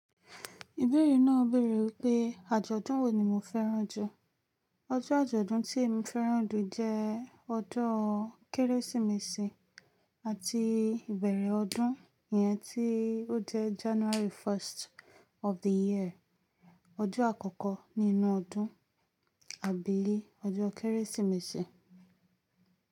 Ìbẹ̀rí náà bèèrè wípé́, àjọ̀dún wo ni mo fẹ́ràn jù? Ọjọ́ àjọ̀dún tí mo fẹ́ràn jù jẹ́ ọdún Kérésìmesì àti ìbẹ̀rẹ̀ ọdún yẹn tí ó jẹ́ January 1st of the year. Ọjọ́ àkọ́kọ́ nínú ọdún, àbíi ọjọ́ Kérésìmesì.